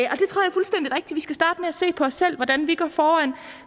se på os selv hvordan vi går foran